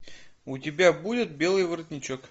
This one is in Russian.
у тебя будет белый воротничок